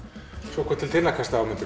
svo kom til þinna kasta